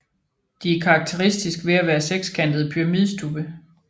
De er karakteristisk ved at være sekskantede pyramidestubbe